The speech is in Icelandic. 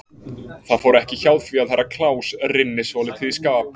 Það fór ekki hjá því að Herra Kláus rynni svolítið í skap.